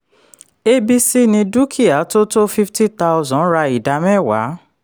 abc ní dúkìá tó tó fifty thousand ra ida mẹ́wàá.